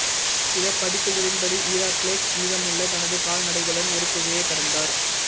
சில பதிப்புகளின்படி ஹெராக்கிள்ஸ் மீதமுள்ள தனது கால்நடைகளுடன் ஒரு குகையை கடந்தார்